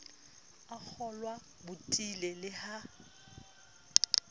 a kgolwao potile le ha